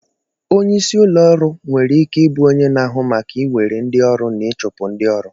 Onye isi ụlọ ọrụ nwere ike ịbụ onye na-ahụ maka iwere ndị ọrụ na ịchụpụ ndị ọrụ